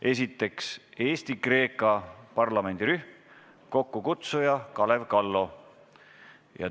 Esiteks, Eesti-Kreeka parlamendirühm, kokkukutsuja on Kalev Kallo.